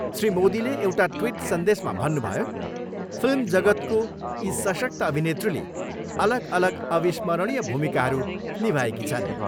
श्री मोदीले एउटा ट्विट सन्देशमा भन्नुभयो, फिल्म जगतको यी सशक्त अभिनेत्रीले अलग अलग अविस्मरणीय भूमिकाहरू निभाएकी छन्।